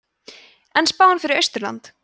en spáin fyrir austurland